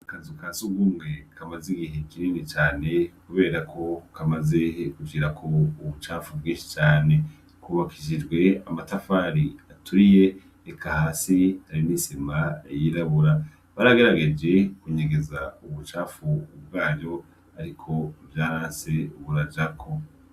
Akazu ka sugumwe kamaze igihe kinini cane kubera ko kamaze kugira ubucafu bwinshi cane, kubakishijwe amatafari aturiye hasi hariho isima yirabura baragerageje kunyegeza ubucafu ariko vyaranse burajako.